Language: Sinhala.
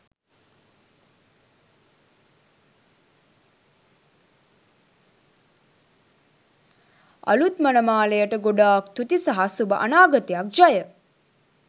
අලුත් මනමාලයට ගොඩාක් තුති සහ සුබ අනාගතයක් ජය